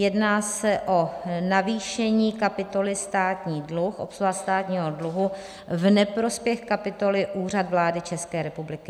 Jedná se o navýšení kapitoly Státní dluh, obsluha státního dluhu, v neprospěch kapitoly Úřad vlády České republiky.